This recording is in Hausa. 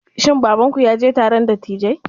Shin babanku ya je taron dattijai?